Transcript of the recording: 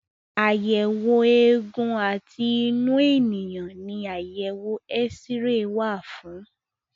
Àyẹ̀wò eégún àti inú ènìyàn ní àyẹ̀wò X-ray wà fún.